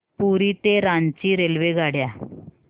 पुरी ते रांची रेल्वेगाड्या